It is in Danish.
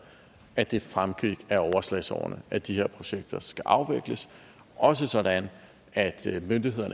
at det fremgik af overslagsårene at de her projekter skal afvikles også sådan at